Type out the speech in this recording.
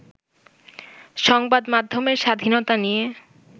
সংবাদ মাধ্যমের স্বাধীনতা নিয়ে